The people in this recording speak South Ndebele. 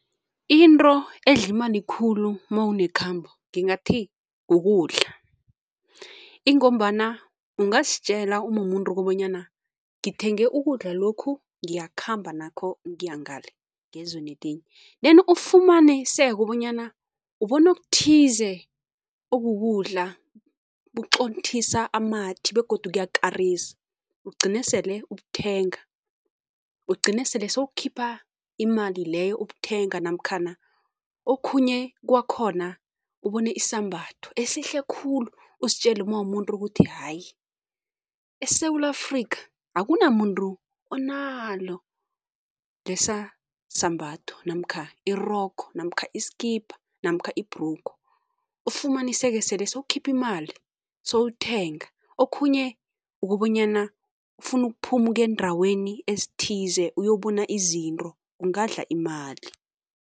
Into edla imali khulu mawunekhambo ngingathi kukudla, ingombana ungazitjela umumuntu ukobanyana ngithenge ukudla lokhu, ngiyakhamba nakho ngiya ngale ngezweni elinye then ufumaniseke bonyana ubona okuthize okukudla, buqothisa amathi begodu kuyakarisa, ugcine sele ubuthenga, ugcine sele sowukhipha imali leyo ubuthenga namkhana okhunye kwakhona ubone isambatho esihle khulu, uzitjele uma uwumuntu ukuthi hayi eSewula Afrika akunamuntu onalo lesa sambatho namkha irogo namkha isikipa namkha ibhrugu, ufumaniseka sele sowukhipha imali sowuthenga. Okhunye ukobanyana ufuna ukuphuma ukuya eendaweni ezithize, uyobona izinto, kungakudla imali.